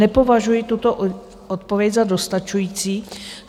Nepovažuji tuto odpověď za dostačující.